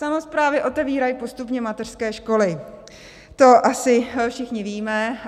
Samosprávy otevírají postupně mateřské školy, to asi všichni víme.